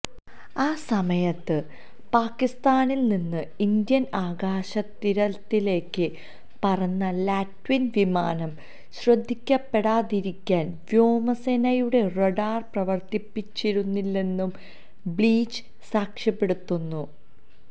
ആ സമയത്ത് പാകിസ്ഥാനില്നിന്ന് ഇന്ത്യന് ആകാശാതിര്ത്തിയിലേക്ക് പറന്ന ലാറ്റ്വിയന് വിമാനം ശ്രദ്ധിക്കപ്പെടാതിരിക്കാന് വ്യോമസേനയുടെ റഡാര് പ്രവര്ത്തിപ്പിച്ചിരുന്നില്ലെന്നും ബ്ലീച്ച് സാക്ഷ്യപ്പെടുത്തുന്നു